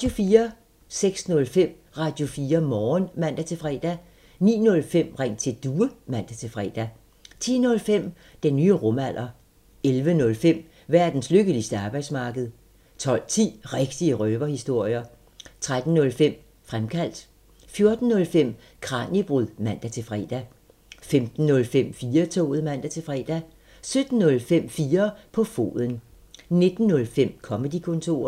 06:05: Radio4 Morgen (man-fre) 09:05: Ring til Due (man-fre) 10:05: Den nye rumalder 11:05: Verdens lykkeligste arbejdsmarked 12:10: Rigtige røverhistorier 13:05: Fremkaldt 14:05: Kraniebrud (man-fre) 15:05: 4-toget (man-fre) 17:05: 4 på foden 19:05: Comedy-kontoret